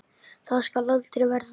Það skal aldrei verða!